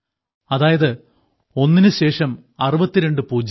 അതായത് ഒന്നിനു ശേഷം 62 പൂജ്യം